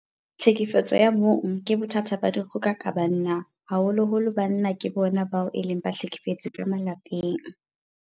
Tlhekefetso ya bong ke bothata ba dikgoka ka banna. Haholoholo banna ke bona bao e leng bahlekefetsi ka malapeng.